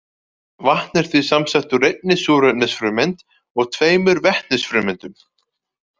Vatn er því samsett úr einni súrefnisfrumeind og tveimur vetnisfrumeindum.